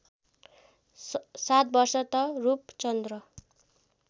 ७ वर्ष त रूपचन्द्र